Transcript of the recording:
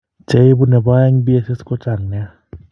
Che ibu ne po aeng' BSS ko chang' nia.